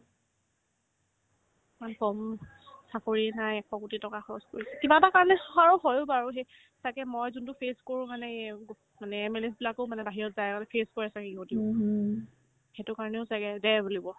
ইমান কম চাকৰি নাই এশকোটি টকা খৰচ কৰিছে কিবা এটা কাৰণে খৰচ হ'ল বাৰু সেই তাকে মই যোনতো face কৰো মানে এই গুপ মানে MLA বিলাকো মানে বাহিৰত যায় আৰু আমি face কৰি আছো সেইবোৰতো সেইটো কাৰণেও ছাগে দে বুলিব